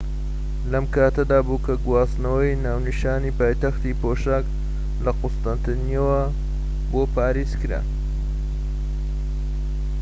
لەم کاتەدابوو کە گواستنەوەی ناونیشانی پایتەختی پۆشاك لە قوستەنتینیەوە بۆ پاریس کرا